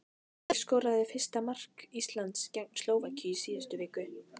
Hver skoraði fyrsta mark Íslands gegn Slóvakíu í síðustu viku?